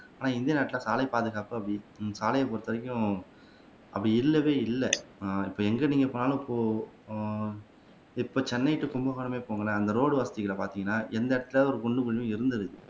ஆனா இந்திய நாட்டுல சாலைப் பாதுகாப்பு அப்படி சாலையை பொறுத்த வரைக்கும் அப்படி இல்லவே இல்லை ஆனா இப்ப எங்க நீங்க போனாலும் இப்போ ஹம் இப்ப சென்னை டூ கும்பகோணமே போங்களேன் அங்க ரோடு வசதிகளை பார்த்தீங்கன்னா எண்ணற்ற ஒரு குண்டு குழியோ இருந்ததில்லை